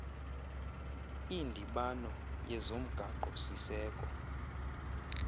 indibano yezomgaqo siseko